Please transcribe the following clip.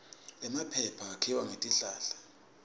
emaphepha akhiwa ngetihlahla